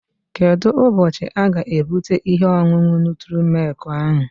Kedụ ụbọchị aga-ebute ihe ọṅụṅụ nutri-milk ahụ?